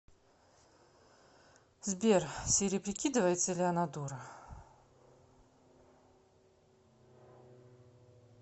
сбер сири прикидывается или она дура